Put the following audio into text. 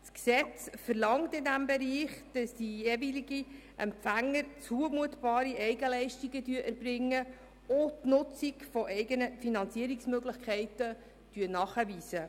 Das Gesetz verlangt in diesem Bereich, dass die jeweiligen Empfänger zumutbare Eigenleistungen erbringen und die Nutzung eigener Finanzierungsmöglichkeiten nachweisen.